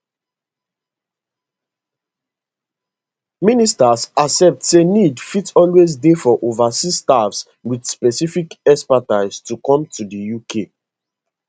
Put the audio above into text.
ministers accept say need fit always dey for overseas staff wit specific expertise to come to di uk